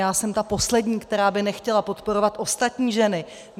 Já jsem ta poslední, která by nechtěla podporovat ostatní ženy.